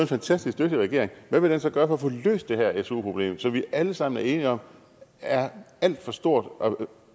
fantastisk dygtig regering hvad vil den så gøre for at få løst det her su problem som vi alle sammen er enige om er alt for stort og